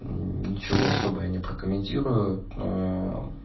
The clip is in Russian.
ничего особо и не прокомментирую но